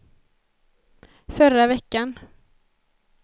förra veckan